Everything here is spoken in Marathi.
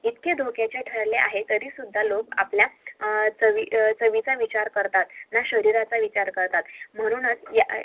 इतके धोक्याचे ठरले आहे तरी सुद्धा लोक आपल्या चवीचा विचार करारात न शरीराचा विचार करतात म्हणून